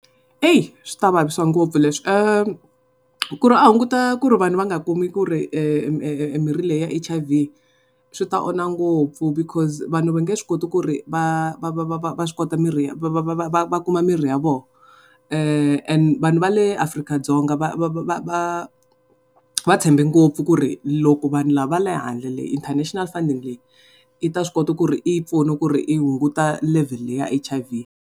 Swi ta vavisa ngopfu leswi ku ri a hunguta ku ri vanhu va nga kumi ku ri mirhi leyi ya H_I_V swi ta onha ngopfu because vanhu va nge swi koti ku ri va va kuma mirhi ya vona vanhu va le Afrika-Dzonga va tshembe ngopfu ku ri loko vanhu lava va le handle, international funding leyi i ta swi kota ku ri yi pfuna ku ri yi hunguta levhele leyi ya H_I_V.